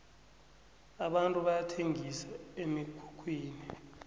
abantu bayathengisa emikhukhwini